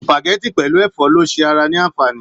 Supágẹ̀tì pẹlú ẹfọ ló ṣe ara ní anfààní.